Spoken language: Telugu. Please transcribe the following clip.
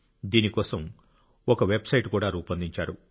దీని కోసం ఒక వెబ్సైట్ కూడా రూపొందించారు